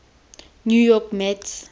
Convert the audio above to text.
new york mets